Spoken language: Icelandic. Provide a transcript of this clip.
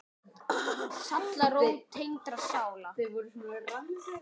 Sálarró tengdra sála.